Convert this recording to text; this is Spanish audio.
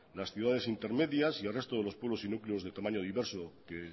las ciudades intermedias y el resto de los pueblos y núcleos de tamaño diverso que